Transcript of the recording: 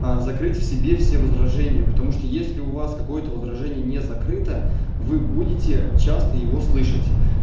закрыть в себе все возражения потому что если у вас какое-то возражение не закрыто вы будете часто его слышать